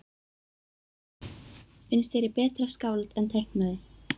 Finnst þér ég betra skáld en teiknari?